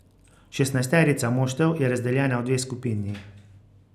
Šestnajsterica moštev je razdeljena v dve skupini.